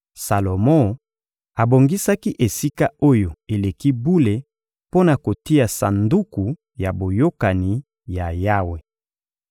Salomo abongisaki Esika-Oyo-Eleki-Bule mpo na kotia Sanduku ya Boyokani ya Yawe.